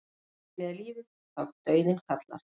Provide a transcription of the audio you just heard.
Dýrmætt er lífið þá dauðinn kallar.